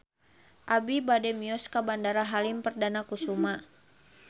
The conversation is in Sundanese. Abi bade mios ka Bandara Halim Perdana Kusuma